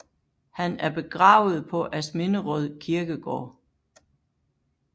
Han er begravet på Asminderød Kirkegård